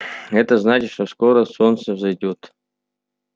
это значит что скоро солнце взойдёт